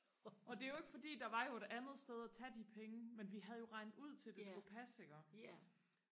og det er jo ikke fordi der var jo et andet sted og tage de penge men vi havde jo regnet ud til det skulle passe iggå